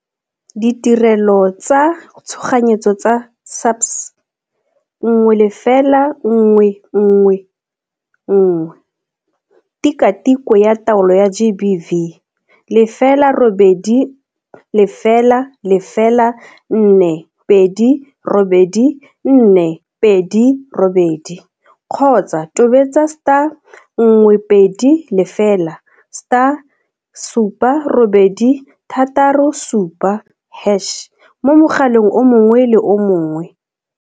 Ditirelo tsa Tshoganyetso tsa SAPS, 10111. Tikwatikwe ya Taolo ya GBV, 0800 428 428 kgotsa tobetsa star 120 star 7867 hash mo mogaleng o mongwe le o mongwe.